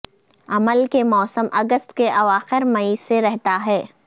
عمل کے موسم اگست کے اواخر مئی سے رہتا ہے